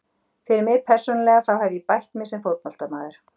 Fyrir mig persónulega þá hef ég bætt mig sem fótboltamaður.